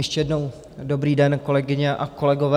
Ještě jednou dobrý den, kolegyně a kolegové.